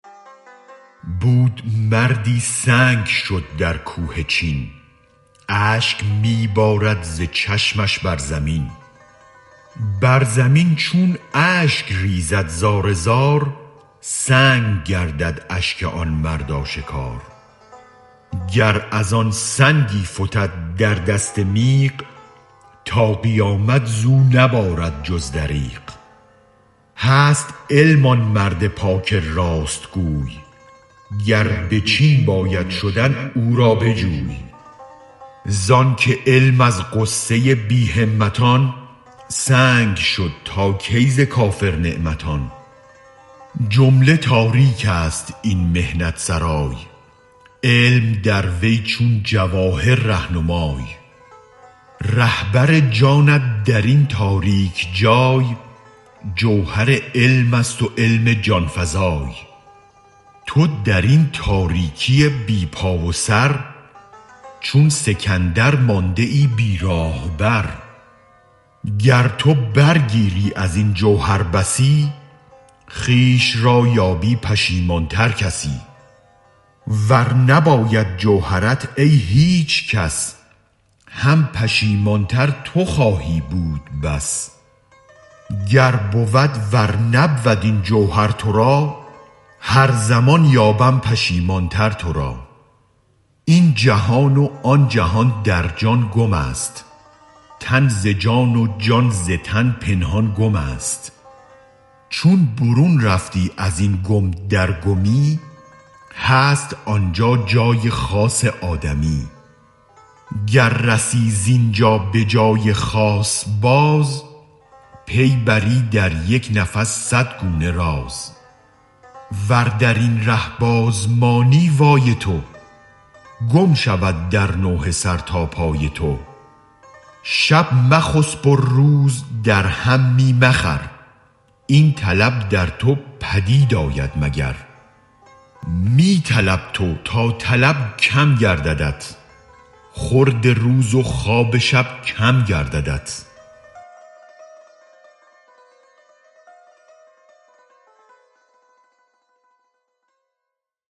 بود مردی سنگ شد در کوه چین اشک می بارد ز چشمش بر زمین بر زمین چون اشک ریزد زار زار سنگ گردد اشک آن مرد آشکار گر از آن سنگی فتد در دست میغ تا قیامت زو نبارد جز دریغ هست علم آن مرد پاک راست گوی گر به چین باید شدن او را بجوی زانک علم از غصه بی همتان سنگ شد تا کی ز کافر نعمتان جمله تاریک است این محنت سرای علم در وی چون جواهر ره نمای رهبر جانت درین تاریک جای جوهر علمست و علم جان فزای تو درین تاریکی بی پا و سر چون سکندر مانده ای بی راه بر گر تو برگیری ازین جوهر بسی خویش را یابی پشیمان تر کسی ور نباید جوهرت ای هیچ کس هم پشیمان تر تو خواهی بود بس گر بود ور نبود این جوهر ترا هر زمان یابم پشیمان تر ترا این جهان و آن جهان در جان گمست تن ز جان و جان ز تن پنهان گمست چون برون رفتی ازین گم در گمی هست آنجا جای خاص آدمی گر رسی زینجا بجای خاص باز پی بری در یک نفس صد گونه راز ور درین ره بازمانی وای تو گم شود در نوحه سر تا پای تو شب مخسب و روز در هم می مخور این طلب در تو پدید آید مگر می طلب تو تا طلب کم گرددت خورد روز و خواب شب کم گرددت